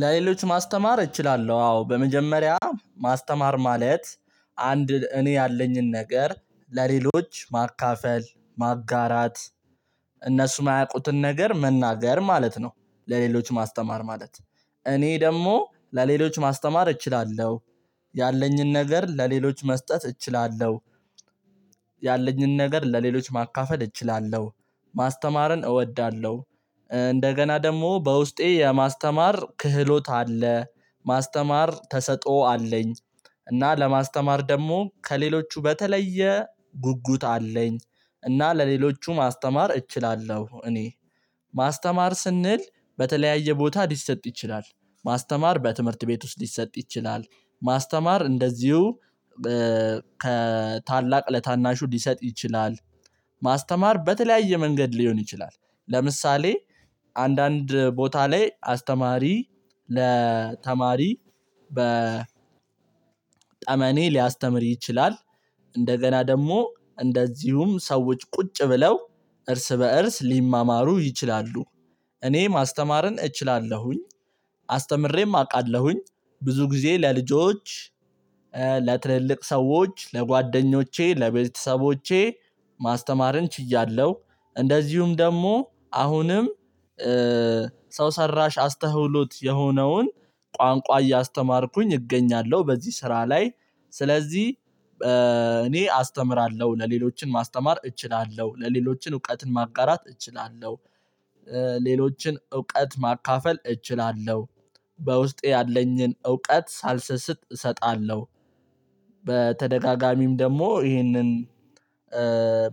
ለሌሎች ማስተማር እችላለሁ አዎ በመጀመሪያ ማስተማር ማለት አንድ እኔ ያለኝን ነገር ለሌሎች ማካፈል ማጋራት እነሱ የማያውቁትን ነገር መናገር ማለት ነው። ለሌሎች ማስተማር ማለት እኔ ደግሞ ለሌሎች ማስተማር እችላለሁ። ያለኝን ነገር ለሌሎች መስጠት እችላለሁ። ያለኝን ነገር ለሌሎች ማካፈል እችላለሁ። ማስተማርን እወዳለሁ። እንደገና ደግሞ በውስጤ የማስተማር ክህሎት አለ። ማስተማር ተሰጥኦ አለኝ። እና ለማስተማር ደግሞ ከሌሎቹ በተለየ ጉጉት አለኝ። እና ለሌሎቹ ማስተማር እችላለሁ እኔ ማስተማር ስንል በተለያየ ቦታ ሊሰጥ ይችላል። ማስተማር በትምህርት ቤት ውስጥ ሊሰጥ ይችላል። ማስተማር እንደዚሁ ከታላቅ ለታናሹ ሊሰጥ ይችላል። ማስተማር በተለያየ መንገድ ሊሆን ይችላል። ለምሳሌ አንዳንድ ቦታ ላይ አስተማሪ ለተማሪ በ ጠመኔ ሊያስተምር ይችላል። እንደገና ደግሞ እንደዚሁም ሰዎች ቁጭ ብለው እርስ በእርስ ሊማማሩ ይችላሉ። እኔ ማስተማርን እችላለሁኝ አስተምሬም አውቃለሁኝ። ብዙ ጊዜ ለልጆች ለትልልቅ ሰዎች ለጓደኞቼ ለቤተሰቦቼ ማስተማርን ችያለው። እንደዚሁም ደግሞ አሁንም ሰው ሰራሽ አስተውሎት የሆነውን ቋንቋ እያስተማርኩኝ እገኛለሁ በዚህ ስራ ላይ። ስለዚህ እኔ አስተምራለሁ ለሌሎችን ማስተማር እችላለሁ ለሌሎችን እውቀትን ማጋራት እችላለሁ። ሌሎችን እውቀት ማካፈል እችላለሁ። በውስጤ ያለኝን እውቀት ሳልሰስት እሰጣለሁ። በተደጋጋሚም ደግሞ ይህንን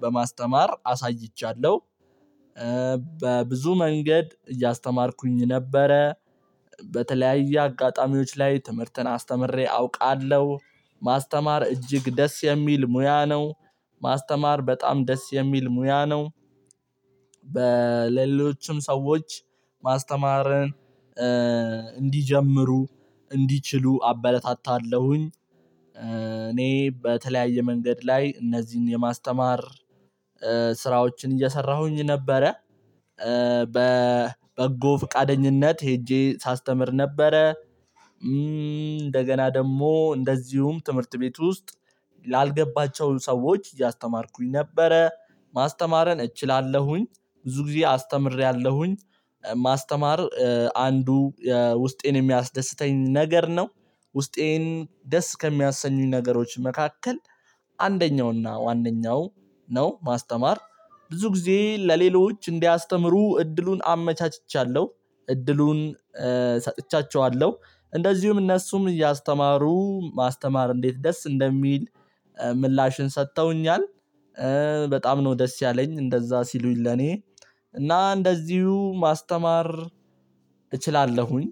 በማስተማር አሳይቻለሁ። በብዙ መንገድ እያስተማርኩኝ ነበረ። በተለያየ አጋጣሚዎች ላይ ትምህርትን አስተምሬ አውቃለሁ። ማስተማር እጅግ ደስ የሚል ሙያ ነው። ማስተማር በጣም ደስ የሚል ሙያ ነው። በሌሎችም ሰዎች ማስተማርን እንዲጀምሩ እንዲችሉ አበለታታለሁኝ። እኔ በተለያየ መንገድ ላይ እነዚህን የማስተማር ስራዎችን እየሰራሁኝ ነበረ። በበጎ ፍቃደኝነት ሄጄ ሳስተምር ነበረ። እንደገና ደግሞ እንደዚሁም ትምህርት ቤት ውስጥ ላልገባቸው ሰዎች እያስተማርኩኝ ነበረ። ማስተማረን እችላለሁኝ ብዙ ጊዜ አስተምሬያለሁኝ። ማስተማር አንዱ ውስጤን የሚያስደስተኝ ነገር ነው። ውስጤን ደስ ከሚያሰኙኝ ነገሮች መካከል አንደኛውና ዋነኛው ነው። ማስተማር ብዙ ጊዜ ለሌሎች እንዲያስተምሩ እድሉን አመቻችቻለሁ። እድሉን ሰጥቻቸዋለሁ እንደዚሁም እነሱም እያስተማሩ ማስተማር እንዴት ደስ እንደሚል ምላሽን ሰጥተውኛል። በጣም ነው ደስ ያለኝ እንደዛ ሲሉኝ ለኔ። እና እንደዚሁ ማስተማር እችላለሁኝ።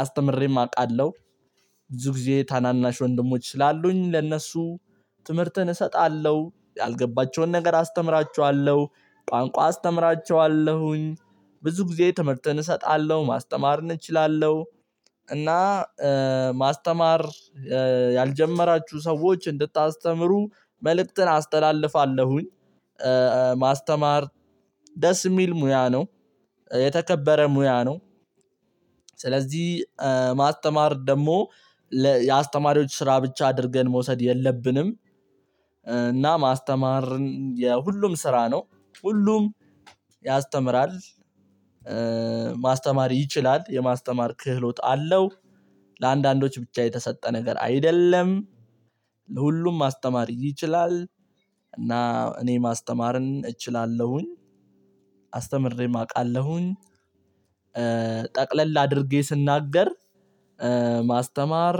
አስተምሬም አውቃለሁ። ብዙ ጊዜ ታናናሽ ወንድሞች ስላሉኝ ለእነሱ ትምህርትን እሰጣለሁ ያልገባቸውን ነገር አስተምራቸዋለሁ። ቋንቋ አስተምራቸዋለሁኝ። ብዙ ጊዜ ትምህርትን እሰጣለሁ ማስተማርን እንችላለሁ። እና ማስተማር ያልጀመራችሁ ሰዎች እንድታስተምሩ መልእክትን አስተላልፋለሁኝ። ማስተማር ደስ የሚል ሙያ ነው። የተከበረ ሙያ ነው። ስለዚህ ማስተማር ደግሞ የአስተማሪዎች ስራ ብቻ አድርገን መውሰድ የለብንም። እና ማስተማርን የሁሉም ስራ ነው። ሁሉም ያስተምራል። ማስተማር ይችላል የማስተማር ክህሎት አለው። ለአንዳንዶች ብቻ የተሰጠ ነገር አይደለም። ለሁሉም ማስተማር ይችላል። እና እኔ ማስተማርን እችላለሁኝ። አስተምሬም አቃለሁኝ። ጠቅለል አድርጌ ስናገር ማስተማር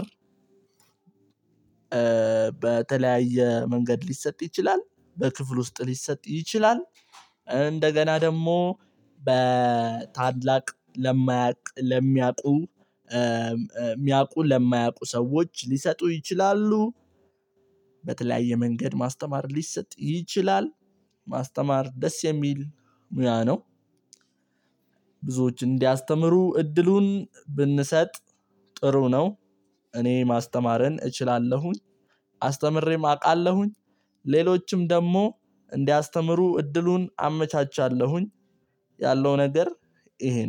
በተለያየ መንገድ ሊሰጥ ይችላል በክፍሉ ውስጥ ሊሰጥ ይችላል። እንደገና ደግሞ በታላቅ ለማያውቅ ለሚያውቁ ሚያውቁ ለማያውቁ ሰዎች ሊሰጡ ይችላሉ። በተለያየ መንገድ ማስተማር ሊሰጥ ይችላል። ማስተማር ደስ የሚል ሙያ ነው። ብዙዎች እንዲያስተምሩ እድሉን ብንሰጥ ጥሩ ነው። እኔ ማስተማርን እችላለሁኝ አስተምሬም አውቃለሁኝ። ሌሎችም ደግሞ እንዲያስተምሩ እድሉን አመቻቻለሁኝ። ያለው ነገር ይሄ ነው